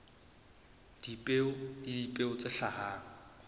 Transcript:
dipeo le dipeo tse hlahang